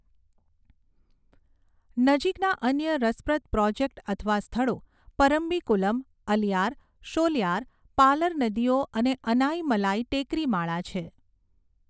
નજીકના અન્ય રસપ્રદ પ્રોજેક્ટ અથવા સ્થળો પરમ્બીકુલમ, અલિયાર, શોલિયાર, પાલર નદીઓ અને અનાઇમલાઈ ટેકરી માળા છે.